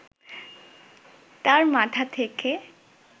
তার মাথা থেকে